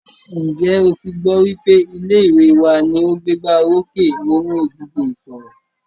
Ǹjẹ́ o tí gbọ́ wípé ilé ìwé wa ní o gbégbá orókè nínú ìdíje ìṣọ̀rọ̀?